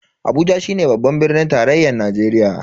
Abuja shine babban birnin tarayyan Najeriya.